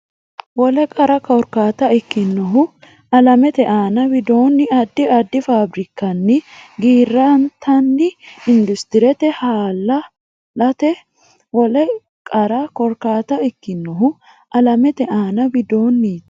Wole qara korkaata ikkinohu alamete aana widoonni addi addi faabirikkanni giirantino Industirete hala laati Wole qara korkaata ikkinohu alamete aana widoonni.